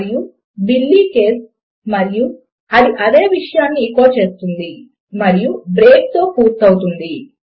మరియు బిల్లీ కేస్ మరియు అది అదే విషయమును ఎకో చేస్తుంది మరియు బ్రేక్ తో పూర్తి అవుతుంది